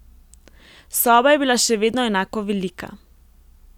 Soba je bila še vedno enako velika.